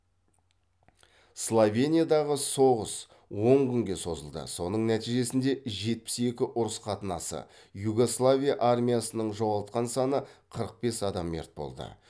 словениядағы соғыс он күнге созылды соның нәтижесінде жетпіс екі ұрыс қатынасы югославия армиясының жоғалтқан саны қырық бес адам мерт болды